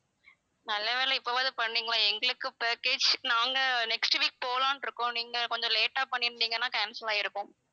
நல்லவேளை இப்பவாது பண்ணிங்களே எங்களுக்கு package நாங்க next week போலாம்ன்னு இருக்கோம் நீங்க கொஞ்சம் late ஆ பண்ணி இருந்தீங்கனா cancel ஆயிருக்கும்